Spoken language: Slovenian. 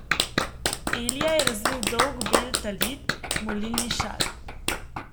Elija je razvil dolg bel talit, molilni šal.